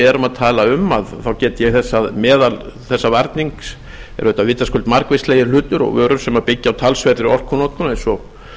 erum að tala um get ég þess að meðal þessa varnings eru vitaskuld margvíslegir hlutir og vörur sem byggja á talsverðri orkunotkun eins og